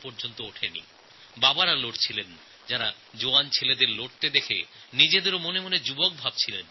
সেইসব পিতারা লড়াই করেছেন যাঁরা নিজের জওয়ান পুত্রকে দেখে নিজেকেও সৈনিক বলে মনে করেছেন